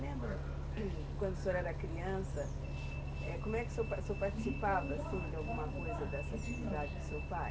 Lembra, quando o senhor era criança, como é que o senhor senhor participava, assim, de alguma coisa dessa atividade do seu pai?